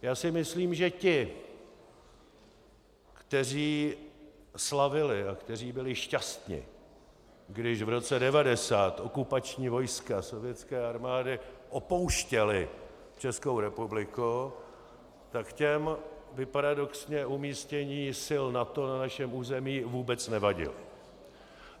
Já si myslím, že ti, kteří slavili a kteří byli šťastni, když v roce 1990 okupační vojska sovětské armády opouštěla Českou republiku, tak těm by paradoxně umístění sil NATO na našem území vůbec nevadilo.